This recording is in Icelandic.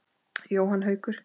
Jóhann Haukur.